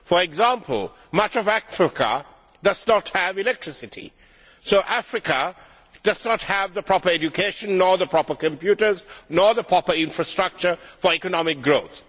For example, much of Africa does not have electricity, so Africa does not have the proper education or the proper computers or the proper infrastructure for economic growth.